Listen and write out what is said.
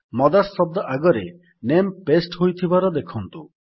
mothers ଶବ୍ଦ ଆଗରେ ନାମେ ପାସ୍ତେ ହୋଇଯାଇଥିବାର ଦେଖନ୍ତୁ